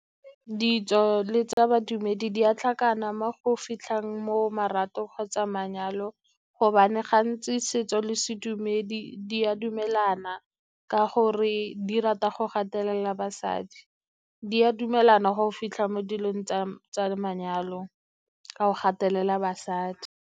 Ditso le tsa badumedi di a tlhakana mo go fitlhang mo marato kgotsa manyalo, gobane gantsi setso le sedumedi di a dumelana ka gore di rata go gatelela basadi. Di a dumelana go fitlha mo dilong tsa manyalo a go gatelela basadi.